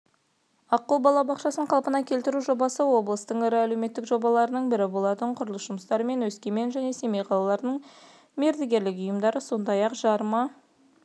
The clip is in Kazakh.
аққу балабақшасын қалпына келтіру жобасы облыстың ірі әлеуметтік жобаларының бірі болатын құрылыс жұмыстарымен өскемен және семей қалаларының мердігерлік ұйымдары сондай-ақ жарма